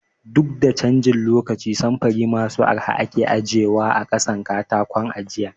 Duk da canjin lokaci samfuri masu arha ake ajiye wa a ƙasan katakon ajiyar